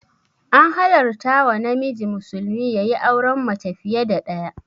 An halarta wa namiji musulmi yayi auren mace fiya da ɗaya